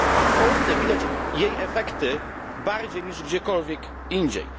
W Polsce widać jej efekty bardziej niż gdziekolwiek indziej.